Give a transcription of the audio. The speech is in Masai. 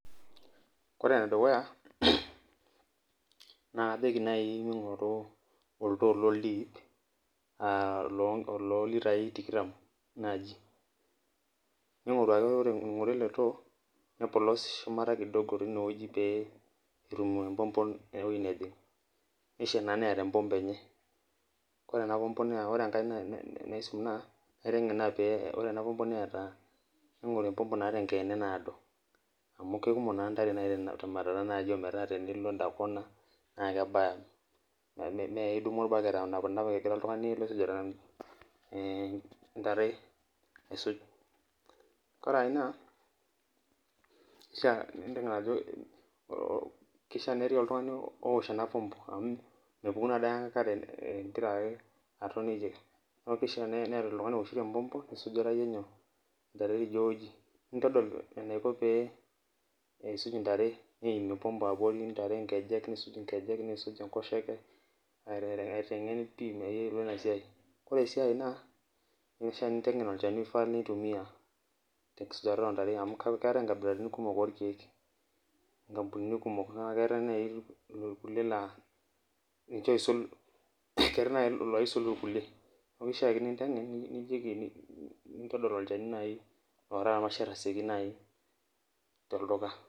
Kore emedukuya na kajoki nai mingoru oldoo loldip lolntoi tikitam ore ingorua ele too nepolos shumata inewueji pe etum empompo ewoi najing, nishaa na neeta empompo enye kore ena pompo naisim na kaitengen paa ore enapompo neeta enkiene naado amu kekumok na ntare temwatata nai metaa enilo endakona na kebaya najiake midumu orbaket aitamana egira oltungani aisuj ore ina ining ajobkishaa petii oltungani oosh ena pompo amu mepuku na enkare ingira aton neaku kishaa meeta oltungani ooshito empopo nisuj iyie ntare nintadol eisij ntare neimie empopo abori nisuk enkosheke nisuj nkekej peyiolou inasiai, ore enkae na kishaa pintengen olchani oigaa nitumia tenkisujata ontare amu keetae nkabilaitin kumok nkampunini orkiek yiolobrkuilie, keetai nai likae oisul irkulie nintadol nai tolduka olchani oaraa irmasher.